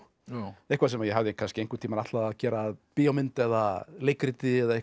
eitthvað sem ég hafði einhvern tímann ætlað að gera að bíómynd eða leikriti eða eitthvað